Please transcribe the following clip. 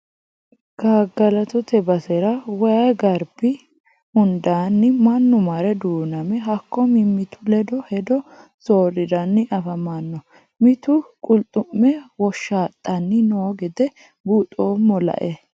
Gagalattote basera waayi garbi hundanni mannu marre duuname hakko mimitu ledo hedo sooriranni affamano mitu qulxume woshaxani no gede buuxoommo lae.